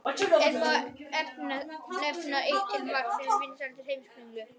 Enn má nefna eitt til marks um vinsældir Heimskringlu.